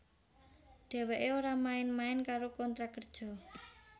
Dheweké ora main main karo kontrak kerja